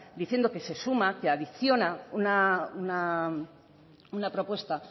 diciendo que se suma que adiciona una propuesta